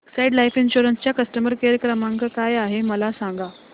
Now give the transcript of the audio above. Exide Life insurance चा customer care क्रमांक काय आहे मला सांगा